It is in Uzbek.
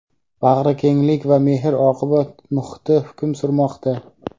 bag‘rikenglik va mehr-oqibat muhiti hukm surmoqda.